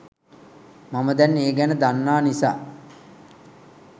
මම දැන් ඒ ගැන දන්නා නිසා